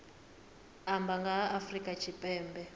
amba nga ha afrika tshipembe